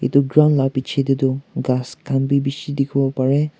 etu ground laga piche te tu gass khan bhi bisi dekhi bo pare.